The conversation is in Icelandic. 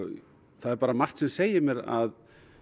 það er margt sem segir mér að